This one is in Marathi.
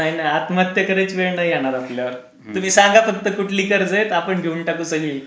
नाही नाही आत्महत्या करायची वेळ नाही येणार आपल्या वर. तुम्ही सांगा फक्त कुठली कर्ज आहेत आपण घेऊन टाकू सगळी.